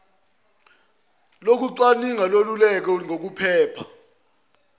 lokucwaninga leluleke ngokuphepha